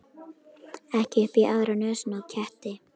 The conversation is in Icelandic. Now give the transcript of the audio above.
Ekki upp í aðra nösina á ketti.